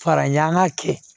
Fara an ka kɛ